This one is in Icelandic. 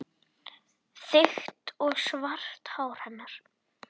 Þykkt og svart hár hennar.